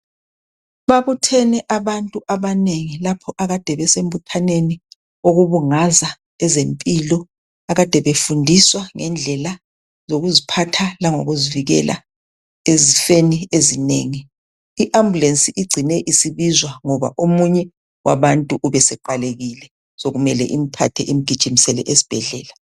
Babuthene abantu abanengi lapho akade besembuthaneni okubungaza ezempilo akade befundiswa ngendlela zokuziphatha langokuzivikela ezifeni ezinengi. Iambulensi igcine isibizwa ngoba omunye wabuntu ubeseqalekile sokumele imthathe imgijimisele esibhedlela.